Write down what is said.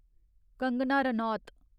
Kangana Ranaut